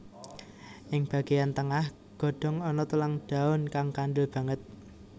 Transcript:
Ing bagéyan tengah godhong ana tulang daun kang kandel banget